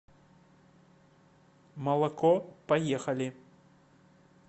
молоко поехали